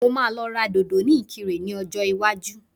Mo máa lọ ra dòdò ní ìkirè ní ọjọ́ iwájú